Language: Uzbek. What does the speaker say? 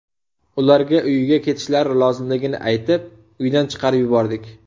Ularga uyiga ketishlari lozimligini aytib, uydan chiqarib yubordik.